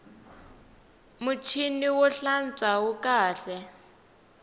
muchini wo hlantswa wu kahle